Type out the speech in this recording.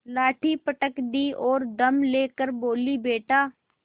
लाठी पटक दी और दम ले कर बोलीबेटा